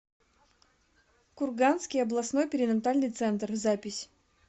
курганский областной перинатальный центр запись